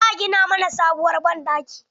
Za a gina mana sabuwar banɗaki.